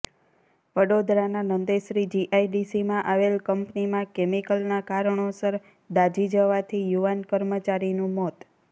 વડોદરાના નંદેસરી જીઆઈડીસીમાં આવેલ કંપનીમાં કેમિકલના કારણોસર દાઝી જવાથી યુવાન કર્મચારીનું મોત